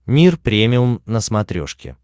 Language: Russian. мир премиум на смотрешке